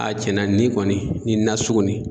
A tiɲɛn na nin kɔni ni na sugu nin.